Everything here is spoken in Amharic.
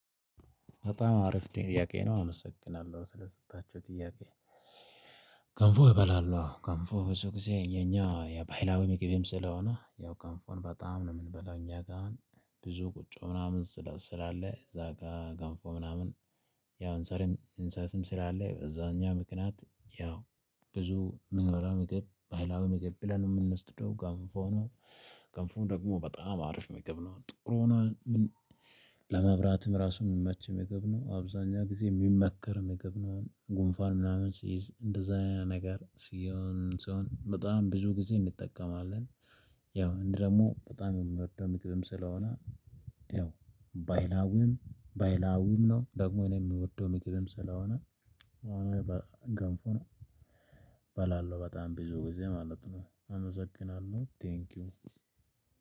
በጣም አሪፍ ጥያቄ ነው አመሰግናለሁ ስለሰጣችሁኝ ጥያቄ። ገንፎ እበላለሁ ገንፎ ብዙ ጊዜ የኛ የባህላዊ ምግብም ስለሆነ ያው ገንፎን በጣም ነው የምንበላው እኛ ጋር። ብዙ ቁጮ ምናምን ስላለ እዛ ጋር ገንፎ ምናምን። ያው እንሰሪም እንሰትም ስላለ በዛኛው ምክንያት ያው ብዙ ምንበላ ምግብ ባይላዊ ምግብ ብለን የምንወስደው ገንፎ ነው። ገንፎም ደግሞ በጣም አሪፍ ምግብ ነው ጥቁር ሆኖ። ለመብራትም ራሱን ሚመቼ ምግብ ነው አብዛኛው ጊዜ የሚመከር ምግብ ነው አሁን ጉንፋን ምናምን ሲይዝ እንደዛ ነገር ሲሆን ሲሆን በጣም ብዙ ጊዜ እንጠቀማለን። ያው እኔ ደግሞ በጣም የምወደው ምግ ስለሆነ። ያው ባይላውም ባይላውም ነው ደሞ እኔ አምወደው ምግብም ስለሆነ። አኔ ገንፎን አበላለሁ ብዙ ግዜ ማለት ነው።